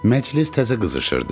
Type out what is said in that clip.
Məclis təzə qızışırdı.